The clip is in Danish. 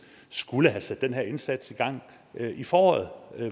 skulle have sat den her indsats i gang i foråret